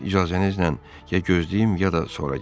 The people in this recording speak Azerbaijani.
İcazənizlə ya gözləyim, ya da sonra gəlim.